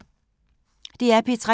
DR P3